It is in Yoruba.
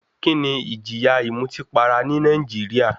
Kíni ìjìyà ìmutípara ní Nàìjíríà?